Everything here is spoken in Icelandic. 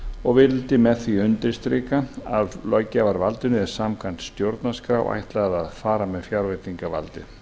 og vildi með því undirstrika að löggjafarvaldinu er samkvæmt stjórnarskrá ætlað að fara með fjárveitingavaldið